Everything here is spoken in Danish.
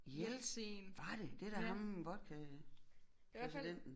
Ja var det det er da ham vodka præsidenten